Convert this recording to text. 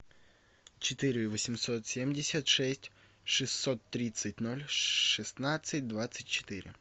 четыре восемьсот семьдесят шесть шестьсот тридцать ноль шестнадцать двадцать четыре